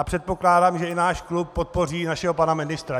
A předpokládám, že i náš klub podpoří našeho pana ministra.